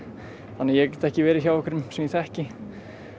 þannig að ég get ekki verið hjá einhverjum sem ég þekki